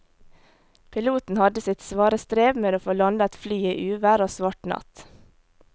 Piloten hadde sitt svare strev med å få landet flyet i uvær og svart natt.